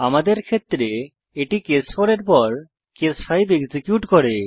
আমাদের ক্ষেত্রে এটি কেস 4 এর পর কেস 5 এক্সিকিউট করে